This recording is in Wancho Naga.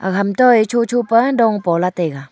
ham toe shosho pa dong pola taiga.